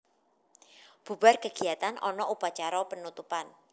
Bubar kegiatan ana upacara penutupan